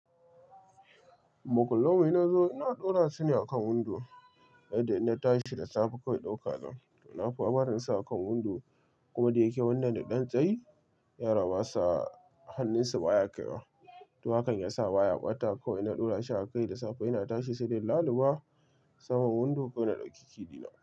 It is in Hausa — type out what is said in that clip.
Makullan mu inna zo ina ɗora su ne akan windo. Sai dai ina tashi da safe kawai in ɗauka zanyi. Nafi barin sa akan windo kuma da yake wannan da ɗan tsayi, yana basa hannunsu baya kaiwa. To hakan ya sa baya ɓata ko ina ɗora shi a kai da safe ina tashi sai dai laluba saman windo ko na ɗauki ki ɗina.